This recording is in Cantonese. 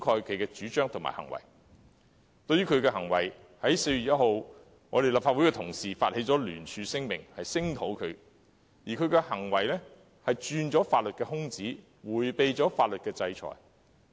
針對他的行為，立法會同事於4月1日發起聯署聲明，聲討他的行為不但鑽法律空子，而且迴避法律制裁。